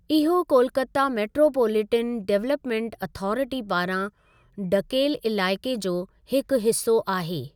इहो Kolkata metropolitan development authority पारां ढकेल इलाइक़े जो हिकु हिसो आहे।